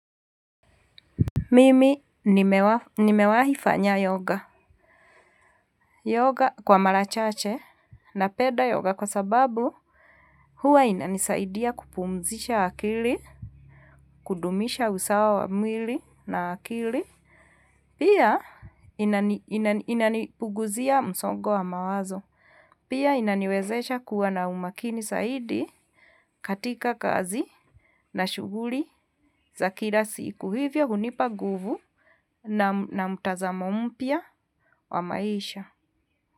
Mimi nimewahi fanya yoga kwa marachache napenda yoga kwa sababu huwa inanisaidia kupumzisha akili, kudumisha usawa wa mwili na akili. Pia, inanipuguzia msongo wa mawazo. Pia inaniwezesha kuwa na umakini zaidi, katika kazi. Na shughli za kila siku. Hivyo, hunipa nguvu na mtazamo mpya wa maisha.